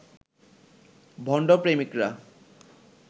ভণ্ড প্রেমিকরা